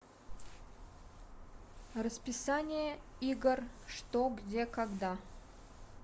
расписание игр что где когда